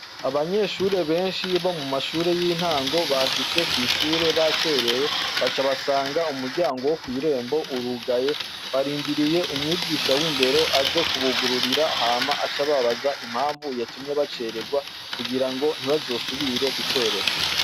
Abanyeshure benshi bo mu mashure y'intango, bashitse kw'ishuri bacerewe, baca basanga umuryango wo kw'irembondero aze kwugurura hama ace ababaza impamvu yatumye bacererwa kugira ngo ntibazosubire gucerwa.